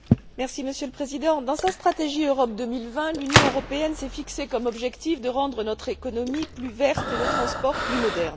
Monsieur le Président, dans sa stratégie Europe 2020, l'Union européenne s'est fixé comme objectif de rendre notre économie plus verte et nos transports plus modernes.